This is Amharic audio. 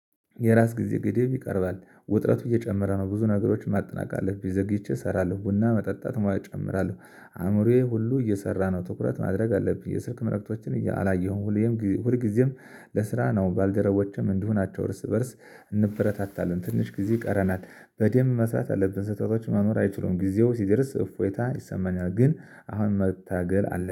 የራስ ጊዜ ግዴብ ይቀርባል ውጥረቱ እየጨመረ ነው። ብዙ ነገሮች ማጠናቀቅ አለብኝ ዘግይቼ እሰራለሁ ቡና መጠጣት ሙያ እጨምራለሁ። አእምሮዬ ሁሉ እየሰራ ነው ትኩረት ማድረግ አለብኝ። የስልክ መልእክቶችን አላየሁም። ሁሌም ሁል ጊዜም ለስራ ነው። ባልደረቦችም እንዲሆናቸው እርስ በእርስ እንበረታታለን ትንሽ ጊዜ ይቀረናል። በደንብ መስራት አለብን ስህተቶች መኖር አይችሉም። ጊዜው ሲደርስ እፎይታ ይሰማኛል። ግን አሁን መታገል አለ